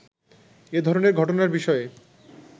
“এ ধরনের ঘটনার বিষয়ে